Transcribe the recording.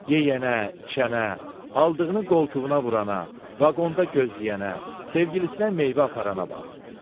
Yeyənə, içənə, aldığını qoltuğuna vurana, vaqonda gözləyənə, sevgilisinə meyvə aparana bax.